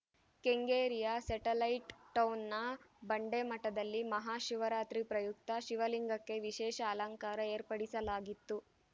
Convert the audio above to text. ಕೆಂಗೇರಿಯ satellite ಟೌನ್‌ನ ಬಂಡೆಮಠದಲ್ಲಿ ಮಹಾ ಶಿವರಾತ್ರಿ ಪ್ರಯುಕ್ತ ಶಿವಲಿಂಗಕ್ಕೆ ವಿಶೇಷ ಅಲಂಕಾರ ಏರ್ಪಡಿಸಲಾಗಿತ್ತು